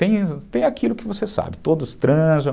Tem aquilo que você sabe, todos transam.